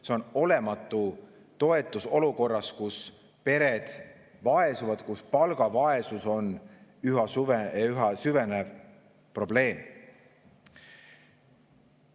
See on olematu toetus olukorras, kus pered vaesuvad, kus palgavaesus on üha süvenev probleem.